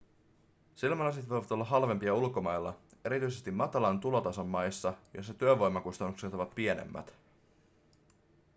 silmälasit voivat olla halvempia ulkomailla erityisesti matalan tulotason maissa joissa työvoimakustannukset ovat pienemmät